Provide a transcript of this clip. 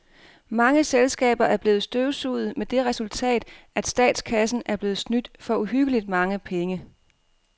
Mange selskaber er blevet støvsuget med det resultat, at statskassen er blevet snydt for uhyggeligt mange penge.